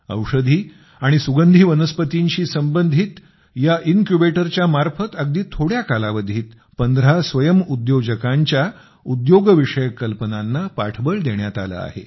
औषधी आणि सुगंधी वनस्पतींशी संबंधित या इनक्यूबेटरच्या मार्फत अगदी थोड्या कालावधीत 15 स्वयंउद्योजकांच्या उद्योगविषयक कल्पनांना पाठबळ देण्यात आले आहे